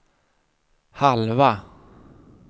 halva